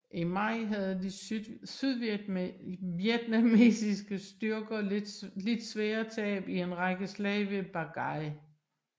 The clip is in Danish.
I maj havde de sydvietnamesiske styrker lidt svære tab i en række slag ved Ba Gai